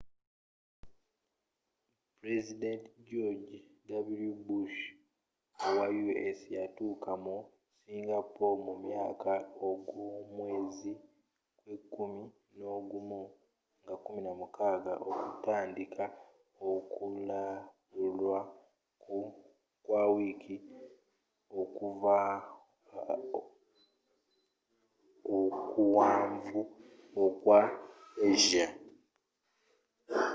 pulezidenti george .w. bush owa u.s. yatuuka mu singapore mu makya agomwezi gwe kumi nogumu nga 16 okutandiika okulambula kwa wiiki okuwanvu okwa asia